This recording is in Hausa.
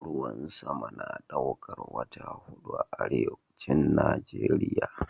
Ruwan sama na daukar wata hudu a Arewacin Nijeriya.